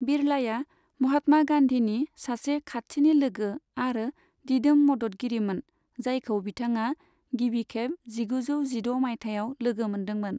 बिरलाया महात्मा गान्धीनि सासे खाथिनि लोगो आरो दिदोम मददगिरिमोन, जायखौ बिथाङा गिबिखेब जिगुजौ जिद' मायथाइयाव लोगो मोनदोंमोन।